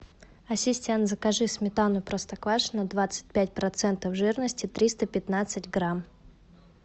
ассистент закажи сметану простоквашино двадцать пять процентов жирности триста пятнадцать грамм